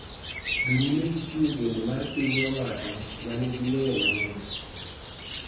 Dhi nyime gi chiwo geno mar piny owacho ma nigi ng�eyo mang�eny.